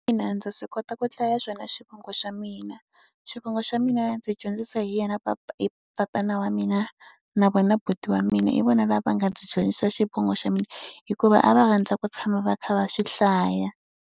Ina ndza swi kota ku hlaya swona xivongo xa mina xivongo xa mina ndzi dyondzisa hi yena tatana wa mina, na vona buti wa mina. H vona lava va nga ndzi dyondzisa xivongo xa mina hikuva a va rhandza ku tshama va kha va swi hlaya.